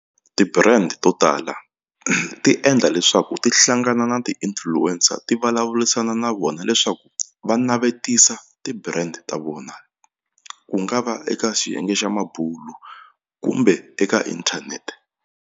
Ti-brand to tala ti endla leswaku ti hlangana na ti-influencer ti vulavurisana na vona leswaku va navetisa ti-brand ta vona ku nga va eka xiyenge xa mabulu kumbe eka inthanete.